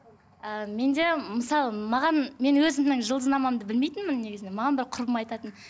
ы менде мысалы маған мен өзімнің жұлдызнамамды білмейтінмін негізінде маған бір құрбым айтатын